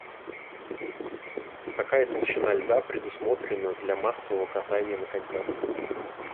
какая толщина льда предусмотрена для массового катания на коньках